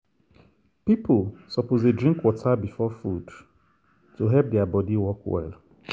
people suppose dey drink water before food to help their body work well.